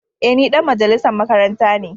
Eh ni dan majalisan makaranta ne.